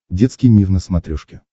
детский мир на смотрешке